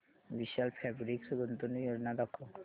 विशाल fabrics गुंतवणूक योजना दाखव